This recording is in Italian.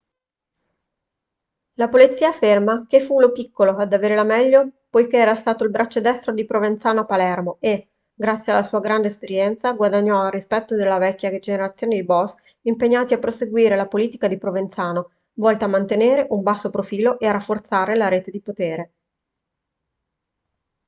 la polizia afferma che fu lo piccolo ad avere la meglio poiché era stato il braccio destro di provenzano a palermo e grazie alla sua grande esperienza guadagnò il rispetto della vecchia generazione di boss impegnati a proseguire la politica di provenzano volta a mantenere un basso profilo e a rafforzare la rete di potere